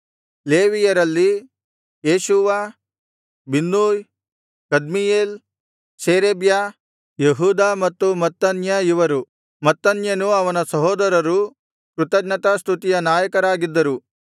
ಲೇವಿಯರಲ್ಲಿ Jeshua Binnui Kadmiel Sherebiah ಯೆಹೂದ ಮತ್ತು Mattaniah ಇವರು ಮತ್ತನ್ಯನೂ ಅವನ ಸಹೋದರರೂ ಕೃತಜ್ಞತಾಸ್ತುತಿಯ ನಾಯಕರಾಗಿದ್ದರು